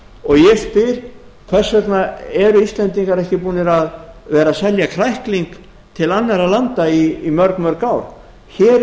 og ég spyr hvers vegna eru íslendingar ekki búnir að vera að selja krækling til annarra landa í mörg mörg ár hér er í raun